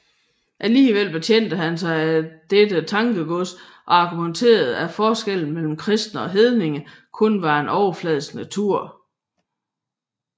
Alligevel betjente han sig af dette tankegods og argumenterede at forskellen mellem kristne og hedninge kun var af overfladisk natur